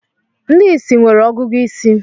Ndị ìsì nwere ọgụgụ isi